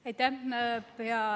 Aitäh!